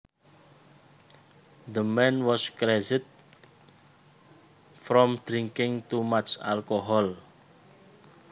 The man was crazed from drinking too much alcohol